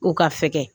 U ka fɛgɛn